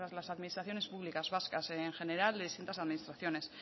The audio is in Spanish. las administraciones públicas vascas en general de distintas administraciones